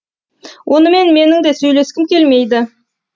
онымен менің де сөйлескім келмейді